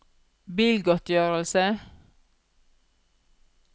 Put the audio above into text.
bilgodtgjørelse